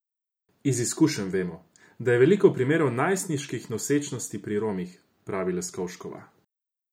Iz izkušenj vemo, da je veliko primerov najstniških nosečnosti pri Romih, pravi Leskovškova.